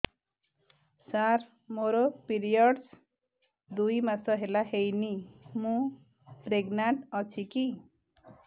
ସାର ମୋର ପିରୀଅଡ଼ସ ଦୁଇ ମାସ ହେଲା ହେଇନି ମୁ ପ୍ରେଗନାଂଟ ଅଛି କି